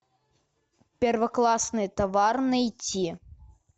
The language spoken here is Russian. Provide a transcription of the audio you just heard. первоклассный товар найти